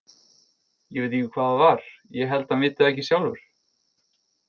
Ég veit ekki hvað það var, ég held hann viti það ekki sjálfur.